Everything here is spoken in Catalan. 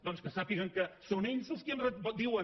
doncs que sàpiguen que són ells els qui diuen